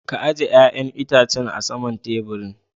Ka ajie yayan Itacen a sama'n taburin.